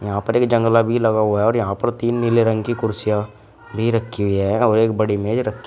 यहां पर एक जंगला भी लगा हुआ और यहां पर तीन नीले रंग की कुर्सियां भी रखी हुई है और एक बड़ी मेज रखी --